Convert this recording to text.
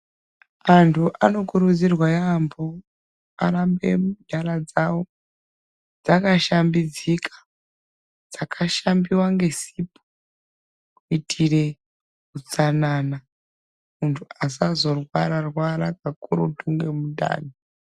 Antu anokurudzirwa yaambo arambe nyara dzawo dzakashambidzika , dzakashambiwa ngesipo kuitire utsanana muntu asazorwara rwara pakurutu ngemundani .